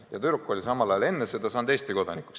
Aga tüdruk oli enne seda saanud Eesti kodanikuks.